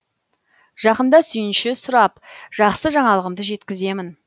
жақында сүйінші сұрап жақсы жаңалығымды жеткіземін